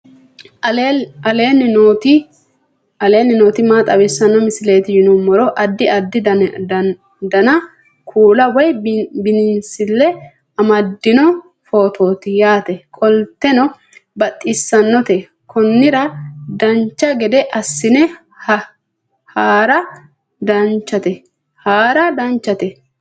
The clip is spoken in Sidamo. aleenni nooti maa xawisanno misileeti yinummoro addi addi dananna kuula woy biinsille amaddino footooti yaate qoltenno baxissannote konnira dancha gede assine haara danchate